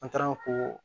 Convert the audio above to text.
An taara ko